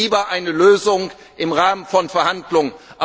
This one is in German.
Ich will lieber eine Lösung im Rahmen von Verhandlungen.